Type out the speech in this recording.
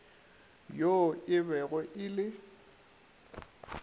yo e bego e le